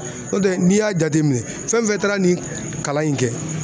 N'o tɛ n'i y'a jateminɛ fɛn fɛn taara nin kalan in kɛ